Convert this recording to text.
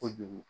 Kojugu